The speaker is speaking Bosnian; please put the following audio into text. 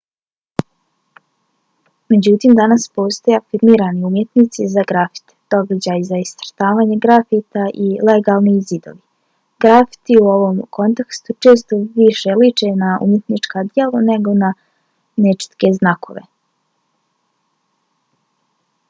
međutim danas postoje afirmirani umjetnici za grafite događaji za iscrtavanje grafita i legalni zidovi. grafiti u ovom kontekstu često više liče na umjetnička djela nego na nečitke znakove